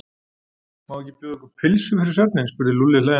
Má ekki bjóða ykkur pylsu fyrir svefninn? spurði Lúlli hlæjandi.